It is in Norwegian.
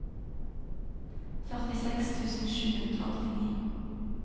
førtiseks tusen sju hundre og åttini